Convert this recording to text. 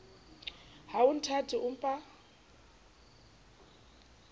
ha o nthate o mpa